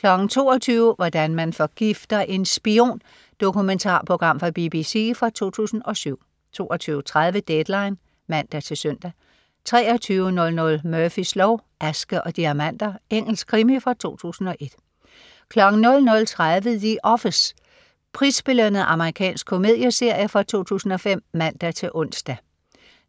22.00 Hvordan man forgifter en spion. Dokumentarprogram fra BBC fra 2007 22.30 Deadline (man-søn) 23.00 Murphys lov: Aske og diamanter. Engelsk krimi fra 2001 00.30 The Office. Prisbelønnet amerikansk komedieserie fra 2005 (man-ons)